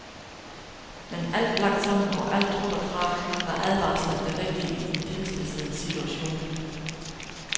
Men alt lagt sammen og alt trukket fra, var advarslen det rigtige i den tilspidsede situation.